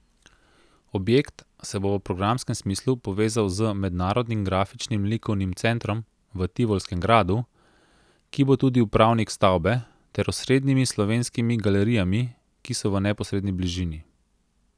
Objekt se bo v programskem smislu povezal z Mednarodnim grafičnim likovnim centrom v Tivolskem gradu, ki bo tudi upravnik stavbe, ter osrednjimi slovenskimi galerijami, ki so v neposredni bližini.